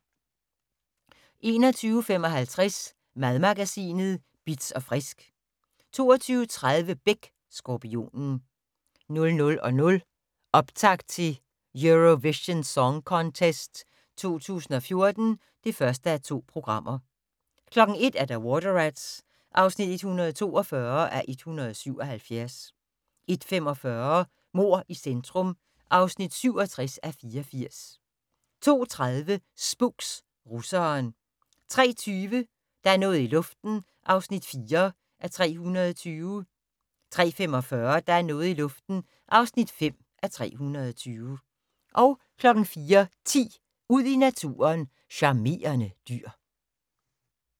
21:55: Madmagasinet Bitz & Frisk 22:30: Beck: Skorpionen 00:00: Optakt til Eurovision Song Contest 2014 (1:2) 01:00: Water Rats (142:177) 01:45: Mord i centrum (67:84) 02:30: Spooks: Russeren 03:20: Der er noget i luften (4:320) 03:45: Der er noget i luften (5:320) 04:10: Ud i naturen: Charmerende dyr